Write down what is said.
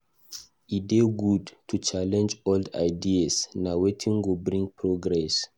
E dey good to challenge old ideas; na wetin go bring progress.